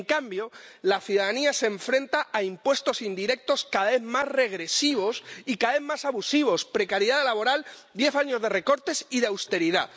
En cambio, la ciudadanía se enfrenta a impuestos indirectos cada vez más regresivos y cada vez más abusivos, precariedad laboral, diez años de recortes y de austeridad.